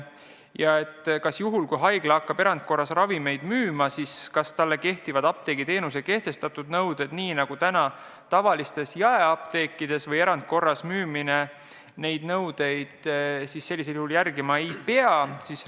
Ja kas juhul, kui haigla hakkab erandkorras ravimeid müüma, kehtivad talle apteegiteenuse kohta kehtestatud nõuded nii nagu praegu tavalistes jaeapteekides või erandkorras müümisel neid nõudeid järgima ei pea?